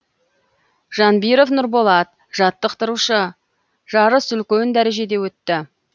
жанбиров нұрболат жаттықтырушы жарыс үлкен дәрежеде өтті